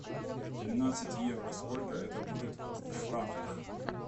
тринадцать евро сколько это будет в франках